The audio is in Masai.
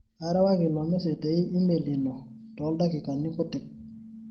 kaarewaki ilo message te email ino too ildakikani kutik